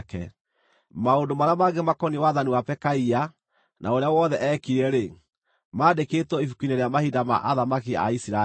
Maũndũ marĩa mangĩ makoniĩ wathani wa Pekaia, na ũrĩa wothe eekire-rĩ, mandĩkĩtwo ibuku-inĩ rĩa mahinda ma athamaki a Isiraeli.